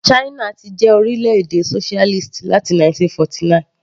China ti jẹ́ orílẹ̀-èdè socialist láti 1949.